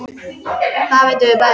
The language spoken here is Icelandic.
Það vitum við bæði.